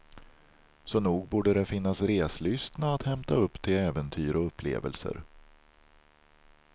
Så nog borde det finnas reslystna att hämta upp till äventyr och upplevelser.